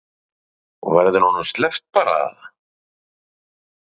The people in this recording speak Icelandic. Fréttamaður: Og verður honum svo sleppt bara eða?